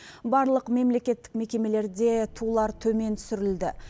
барлық мемлекеттік мекемелерде тулар төмен түсірілді